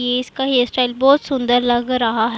इसका hairstyle बहोत सुंदर लग रहा--